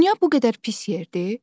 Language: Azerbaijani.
Dünya bu qədər pis yerdir?